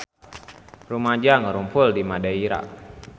Rumaja ngarumpul di Madeira